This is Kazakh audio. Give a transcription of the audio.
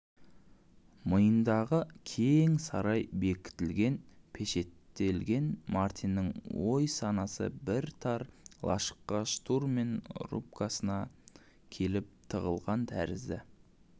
миындағы кең сарай бекітілген пешеттелген мартиннің ой-санасы бір тар лашыққа штурман рубкасына келіп тығылған тәрізді